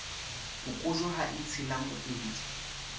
phokojwe ha e tshela moedi